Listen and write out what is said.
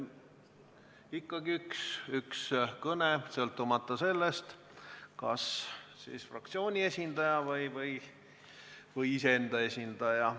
Ikkagi üks kõne, sõltumata sellest, kas fraktsiooni esindajana või iseenda esindajana.